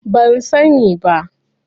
Ban sani ba.